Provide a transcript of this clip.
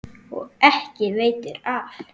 Og ekki veitir af.